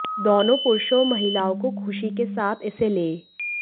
दोनों पुरुषों और महिलाओं को खुशी के साथ इसे ले